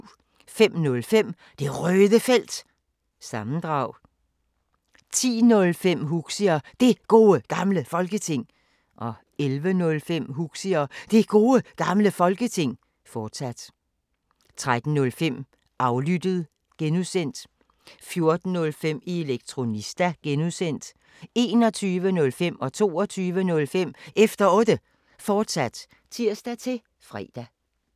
05:05: Det Røde Felt – sammendrag 10:05: Huxi og Det Gode Gamle Folketing 11:05: Huxi og Det Gode Gamle Folketing, fortsat 13:05: Aflyttet G) 14:05: Elektronista (G) 21:05: Efter Otte, fortsat (tir-fre) 22:05: Efter Otte, fortsat (tir-fre)